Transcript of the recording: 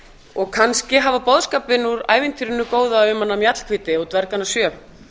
og kannski hafa boðskapinn úr ævintýrinu góða um hana mjallhvíti og dvergana sjö